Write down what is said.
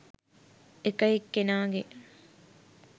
එක එක්කෙනාගේ